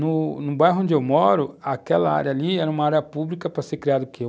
No, no bairro onde eu moro, aquela área ali era uma área pública para ser criada o quê?